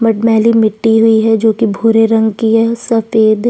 मट मैटी मिट्टी हुई है जो कि भूरे रंग की है सफेद--